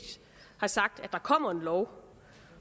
har sagt at der kommer en lov